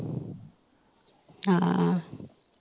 ਹਾਂ।